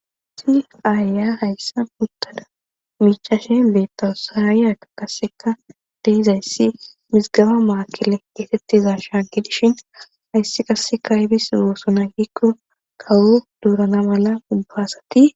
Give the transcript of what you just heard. si aaya hayssa puttada michaashe beettawusaayaka kasseka deizayssi misgaba maakile geetettiza shaaggidishin hayssi kasseka ibis goosuna gikko kawo duurana mala ubbaasati